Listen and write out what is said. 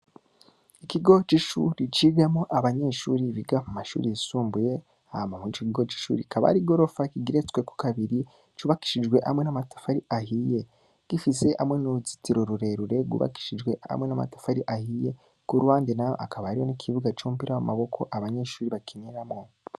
Ikogo c'ishure cigamwo abanyeshure biga mu mashure yisumbuye, hama mw'ico kigo c'ishure kibaba ari igorofa kigeretswe ko kabiri cubakishijwe hamwe amatafari ahiye, gifise n'uruzitiro rwubakishije hamwe n'amatafari ahiye. Ku ruhande naho hakaba ikibuga kinini c'umupira w'amaboko abanyeshure bakiniramwo.